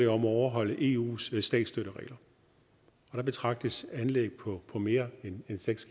om at overholde eus statsstøtteregler og der betragtes anlæg på på mere end seks